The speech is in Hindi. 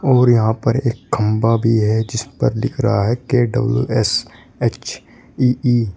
और यहां पर एक खंबा भी है जिस पर लिखा रहा है के_डब्ल्यू_एस_एच_ई_ई --